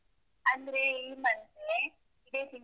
ಅಂದ್ರೆ ಈ month ಇದೇ ತಿಂಗಳು.